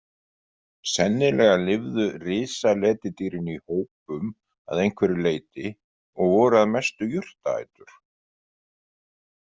Sennilega lifðu risaletidýrin í hópum að einhverju leyti og voru að mestu jurtaætur.